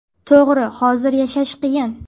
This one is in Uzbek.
To‘g‘ri, hozir yashash qiyin.